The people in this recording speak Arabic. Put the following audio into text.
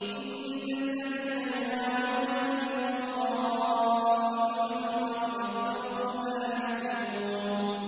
إِنَّ الَّذِينَ يُنَادُونَكَ مِن وَرَاءِ الْحُجُرَاتِ أَكْثَرُهُمْ لَا يَعْقِلُونَ